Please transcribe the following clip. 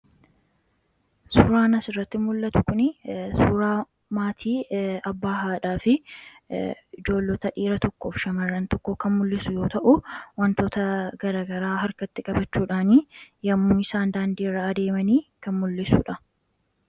Suuraan asirratti mul'atu kunii suuraa maatii :abbaa, haadhaa fi ijoollota dhiira tokkoo fi shamarran tokkoo kan mul'isu yoo ta'u, wantoota garagaraa harkatti qabachuudhaanii yommuu isaan daandiirra adeemanii kan mul'isu dha.